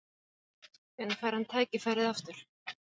Hvenær fær hann tækifærið aftur?